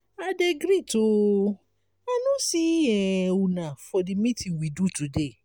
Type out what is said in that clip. i dey greet oo i no see um una for the meeting we do today.